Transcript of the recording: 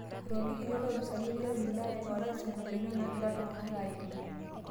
Otolikitio lopisaani lo wilaya orais ngolikinot naagira ltung'ana aimaa